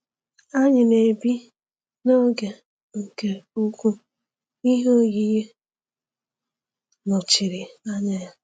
Anyị na-ebi n’oge nke ụkwụ ihe oyiyi nọchiri anya ya.